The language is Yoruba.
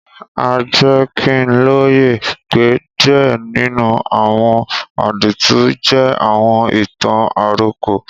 A jẹ ki n loye pe díẹ̀ nínú àwọn àdìtú jẹ àwọn ìtàn-àròkọ.